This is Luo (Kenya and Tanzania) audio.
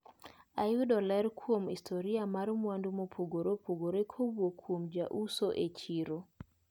Ayudo ler kuom historia mar mwandu mopogre opogre kowuok kuom jauso e chiro.